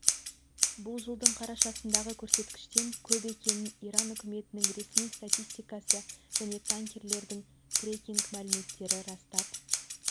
бұл жылдың қарашасындағы көрсеткіштен көп екенін иран үкіметінің ресми статистикасы және танкерлердің трекинг мәліметтері растап